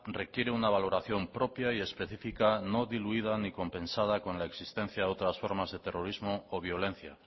requiere una valoración propia y específica no diluida ni compensada con la existencia de otras formas de terrorismo o violencia